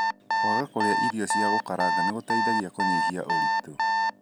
Kwaga kũrĩa irio cia gũkaranga nĩgũteithagia kũnyihia ũritũ.